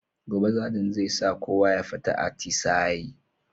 Gobe sajant zai sa kowa ya fita atisa'i